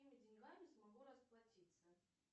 какими деньгами смогу расплатиться